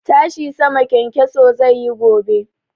Tashi sama kyankyaso zai yi gobe.